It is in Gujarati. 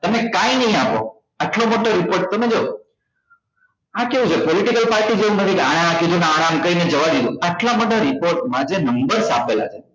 તમે કઈ નઈ આપો આટલો મોટો report તમે જોવો આ કેવું છે political party આને એમ કહ્યું આને એમ કહી ને જવા દીધો આટલા મોટા report માં જે numbers આપેલા છે